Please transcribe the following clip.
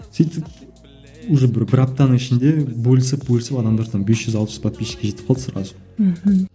сөйтіп уже бір бір аптаның ішінде бөлісіп бөлісіп адамдар там бес жүз алпыс подписчикке жетіп қалды сразу мхм